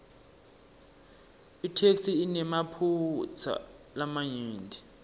itheksthi inemaphutsa lamanyenti